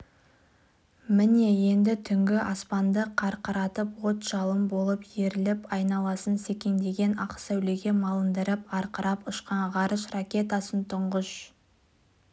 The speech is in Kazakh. міне енді түнгі аспанды қақыратып от-жалын болып өріліп айналасын секеңдеген ақ сәулеге малындырып арқырап ұшқан ғарыш ракетасын тұңғыш